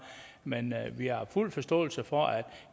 men vi har fuld forståelse for at